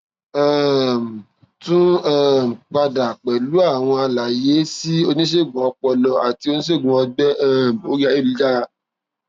um tún um padà pẹlú àwọn àlàyé sí oníṣègùn ọpọlọ àti oníṣègùn ọgbẹ um orí ayélujára